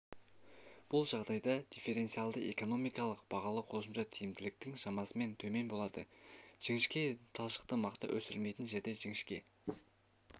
бұл жағдайда дифференциальды экономикалық бағалау қосымша тиімділіктің шамасынан төмен болады жіңішке талшықты мақта өсірілмейтін жерде жіңішке